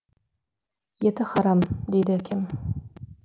еті харам дейді әкем